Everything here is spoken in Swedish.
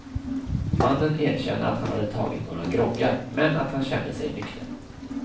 Mannen erkänner att han hade tagit några groggar, men att han kände sig nykter.